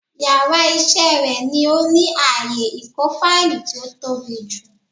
Yàrá isé rè ni ó ní ààyè ìkó fáìlì tí ó tóbi jù